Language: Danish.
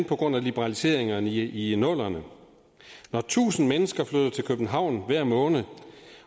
på grund af liberaliseringerne i i nullerne når tusind mennesker flytter til københavn hver måned